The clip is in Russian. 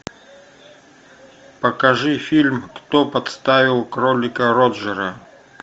покажи фильм кто подставил кролика роджера